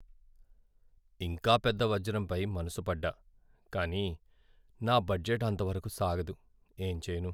ఇంకా పెద్ద వజ్రంపై మనసుపడ్డా! కానీ నా బడ్జెట్ అంతవరకు సాగదు, ఏం చేయను!